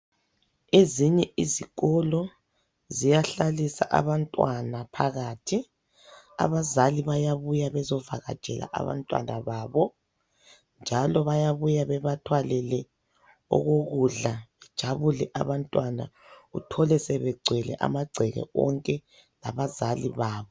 Ezinye izikolo ziyahlalisa abantwana phakathi. Abazali bayabuya bezovakatshela abantwana babo njalo bayabuya bebathwalele okokudla. Bajabule abantwana, uthole sebegcwele amagceke wonke labazali babo.